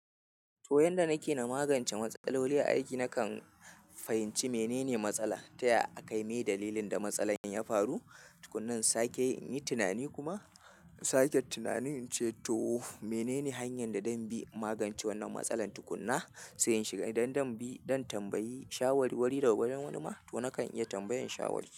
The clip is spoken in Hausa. To yanda nake na magance matsaloli aiki nakan fahimci menene matsala, taya akayi me dalilin da matsalar ya faru, tukunan sake yin tunani kuma in sake tunani ince to menene hanyan da zanbi in magance wannan matsalan tukunna sai inshiga idan zanbi zan tambayi shawarwari da ga gurin wani ma to nakan iya tambayan shawari.